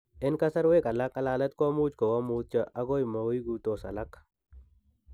En kasarwek alak , ng'alalet komuch kowo mutyo ago moiguitos alak